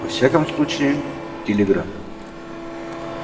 во всяком случае телеграф